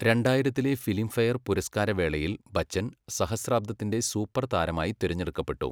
രണ്ടായിരത്തിലെ Filmfare പുരസ്കാരവേളയിൽ ബച്ചൻ സഹസ്രാബ്ദത്തിന്റെ super താരമായി തിരഞ്ഞെടുക്കപ്പെട്ടു.